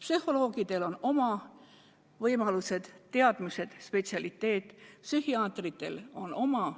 Psühholoogidel on oma võimalused, teadmised, spetsialiteet, psühhiaatritel on oma.